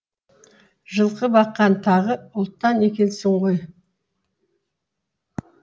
жылқы баққан тағы ұлттан екенсің ғой